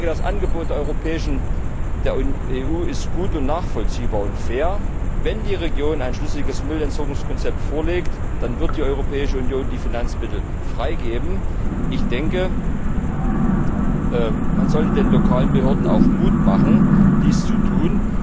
Das Angebot der EU ist gut, nachvollziehbar und fair. Wenn die Region ein schlüssiges Müllentsorgungskonzept vorlegt, dann wird die Europäische Union die Finanzmittel freigeben. Man sollte den lokalen Behörden auch Mut machen, dies zu tun.